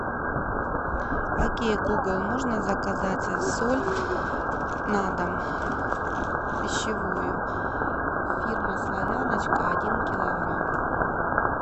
окей гугл можно заказать соль на дом пищевую фирма славяночка один килограмм